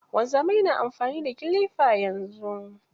Wanzamai na amfani da kilifa yanzu.